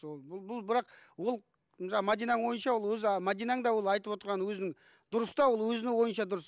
бұл бірақ ол жаңа мәдинаның ойынша өзі а мәдинаң да ол айтып отырған өзінің дұрыс та ол өзінің ойынша дұрыс